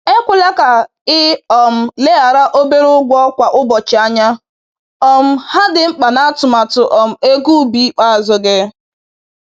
Ekwela ka ị um leghara obere ụgwọ kwa ụbọchị anya, um ha dị mkpa n’atụmatụ um ego ubi ikpeazụ gị.